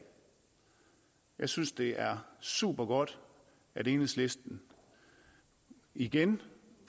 jeg synes det er super godt at enhedslisten igen